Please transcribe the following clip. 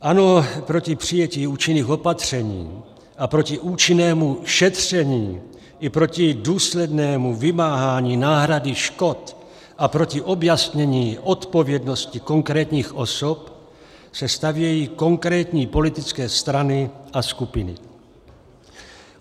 Ano, proti přijetí účinných opatření a proti účinnému šetření i proti důslednému vymáhání náhrady škod a proti objasnění odpovědnosti konkrétních osob se stavějí konkrétní politické strany a skupiny.